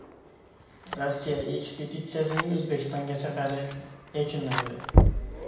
Rossiya ekspeditsiyasining O‘zbekistonga safari yakunlandi .